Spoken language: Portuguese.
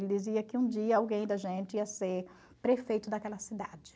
Ele dizia que um dia alguém da gente ia ser prefeito daquela cidade.